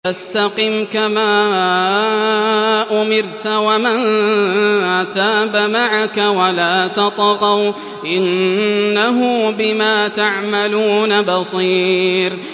فَاسْتَقِمْ كَمَا أُمِرْتَ وَمَن تَابَ مَعَكَ وَلَا تَطْغَوْا ۚ إِنَّهُ بِمَا تَعْمَلُونَ بَصِيرٌ